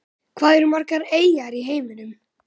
Hvað eru margar eyjar í heiminum?